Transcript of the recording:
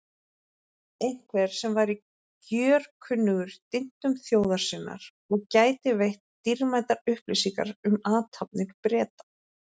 Einhvers sem væri gjörkunnugur dyntum þjóðar sinnar og gæti veitt dýrmætar upplýsingar um athafnir Breta.